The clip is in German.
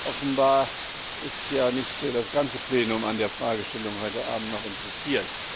Offenbar ist ja nicht das ganze Plenum an der Fragestellung heute Abend noch interessiert.